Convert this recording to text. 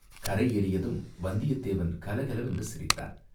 கரை ஏறியதும் வந்தியத் தேவன் கலகலவென்று சிரித்தான்.